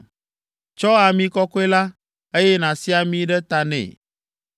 Tsɔ ami kɔkɔe la, eye nàsi ami ɖe ta nɛ.